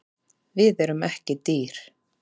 Við erum ekki dýr